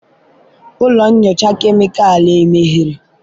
ụlọ nyocha kemịkalụ emeghere?